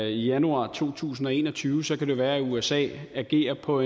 i januar to tusind og en og tyve så kan det være at usa agerer på